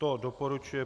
To doporučuje